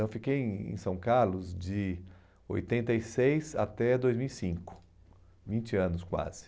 Eu fiquei em em São Carlos de oitenta e seis até dois mil e cinco, vinte anos quase.